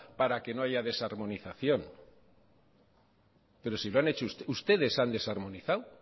para que no haya desarmonización pero si ustedes han desarmonizado